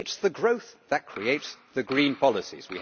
It is the growth that creates the green policies.